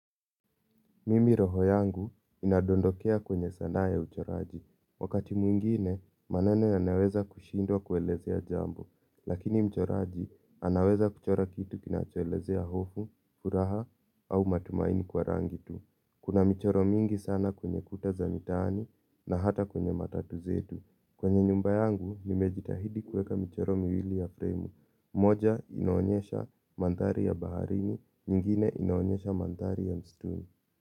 Mimi, roho yangu inadondokea kwenye sanaa ya uchoraji. Wakati mwingine, maneno yanaweza kushindwa kuelezea jambo. Lakini mchoraji anaweza kuchora kitu kinachoelezea hofu, furaha au matumaini kwa rangi tu. Kuna mchoro mingi sana kwenye kuta za mitaani na hata kwenye matatu zetu. Kwenye nyumba yangu, nimejitahidi kuweka mchoro miwili ya fremu. Moja inaonyesha mandhari ya baharini, nyingine inaonyesha mandhari ya msituni.